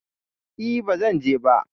E, ba zan je ba.